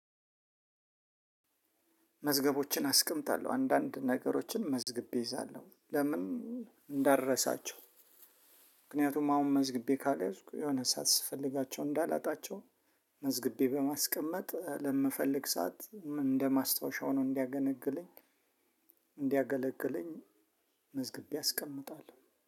መዝገቦችን አስቀምጣለሁ አንዳንድ ነገሮችን መዝግቤ እይዛለሁ ለምን? እንዳርሳቸው ምክንያቱም አሁን መዝግቤ ካልያዝኩ የሆነ ሰዓት ስፈልጋቸው እንዳላጣቸው። መዝግቤ በማስቀመጥ ለምፈልግ ሰዓት እንደማስታወሻ ሆኖ እንዲያገለግለኝ። መዝግቤ አስቀምጣለሁ